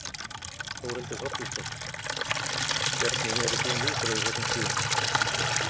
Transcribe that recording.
Þórhildur Þorkelsdóttir: Hvernig eru þín viðbrögð við þessum tíðindum?